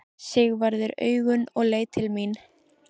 Sigvarður augun og leit til mín.